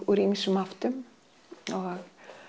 úr ýmsum áttum og